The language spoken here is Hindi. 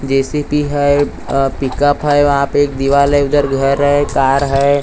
जे.सी.बी. हैं पिक अप हैं वहाँ पे एक दीवाल हैं उधर घर हैं कार हैं।